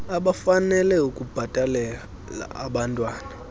abafanele ukubhatalela abantwan